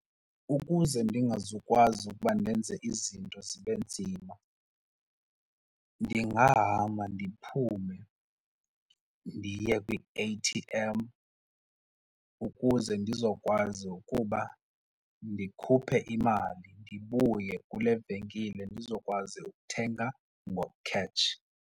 Ukuze ndingazukwazi ukuba ndenze izinto zibe nzima ndingahamba ndiphume ndiye kwi-A_T_M ukuze ndizokwazi ukuba ndikhuphe imali ndibuye kule venkile ndizokwazi ukuthenga ngokhetshi.